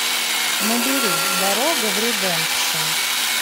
набери дорога в редемпшн